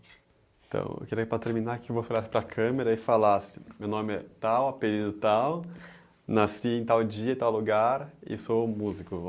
Então, eu queria ir para terminar, que você olhasse para a câmera e falasse, meu nome é Tal, apelido Tal, nasci em tal dia, tal lugar e sou músico.